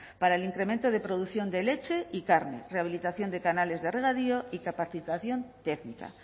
para el incremento de producción de leche y carne rehabilitación de canales de regadío y capacitación técnica